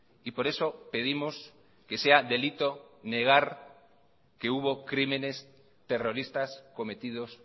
y por eso pedimos que sea delito negar que hubo crímenes terroristas cometidos